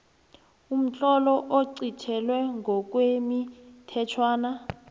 umtlolo oqintelwe ngokwemithetjhwana